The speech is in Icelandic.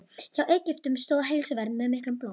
Hjá Egyptum stóð heilsuvernd með miklum blóma.